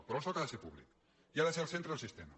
pe·rò el soc ha de ser públic i ha de ser el centre del sis·tema